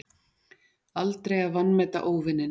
Aldrei að vanmeta óvininn.